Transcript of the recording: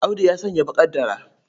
Audu ya sanya baƙar dara.